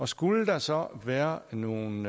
skulle der så være nogle